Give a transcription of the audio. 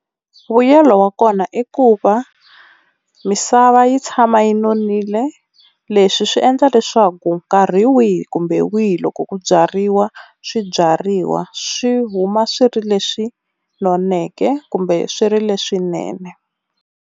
Vuyelo wa kona i ku va misava yi tshama yi nonile leswi swi endla leswaku nkarhi wihi kumbe wihi loko ku byariwa swibyariwa swi huma swi ri leswi noneke kumbe swi ri leswinene.